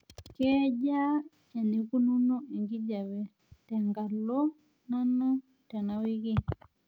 kejaa eneikununo enkijiape tengalo nanu tenawiki